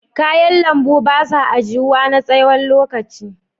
Kayan lambu ba sa ajiyuwa na tsawon lokaci.